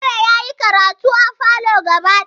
Jumare yayi karatu a falo gaba daya